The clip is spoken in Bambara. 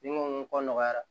Ni n ko nɔgɔyara